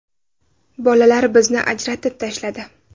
Bolalar bizni ajratib tashladi.